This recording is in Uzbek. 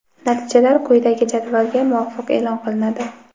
Natijalar quyidagi jadvalga muvofiq e’lon qilinadi:.